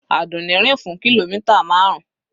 Àdùnní rìn fún kìlómítà marun.